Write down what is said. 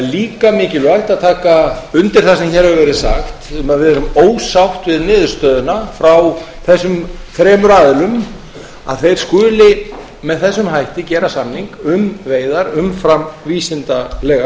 líka mikilvægt að taka undir það sem hér hefur verið sagt um að við erum ósátt við niðurstöðuna frá þessum þremur aðilum að þeir skuli með þessum hætti gera samning um veiðar umfram vísindalega